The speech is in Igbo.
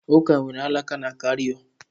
Ụka nwere alaka na Caịro